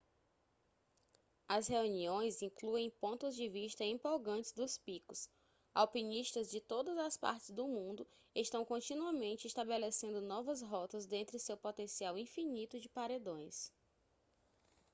as reuniões incluem pontos de vista empolgantes dos picos alpinistas de todas as partes do mundo estão continuamente estabelecendo novas rotas dentre seu potencial infinito de paredões